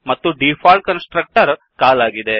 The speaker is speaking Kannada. ಮತ್ತು ಡಿಫಾಲ್ಟ್ ಕನ್ ಸ್ಟ್ರಕ್ಟರ್ ಕಾಲ್ ಆಗಿದೆ